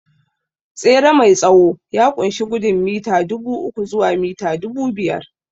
Tsere mai tsawo ya ƙunshi gudun mita dubu uku zuwa mita dubu biyar